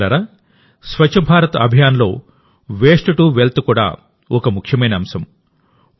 మిత్రులారా స్వచ్ఛ భారత్ అభియాన్లో waste to wealth కూడా ఒక ముఖ్యమైన అంశం